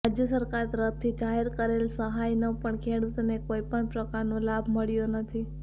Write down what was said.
રાજ્ય સરકાર તરફ્થી જાહેર કરેલ સહાયનો પણ ખેડૂતોને કોઈ પણ પ્રકારનો લાભ મળ્યો નથી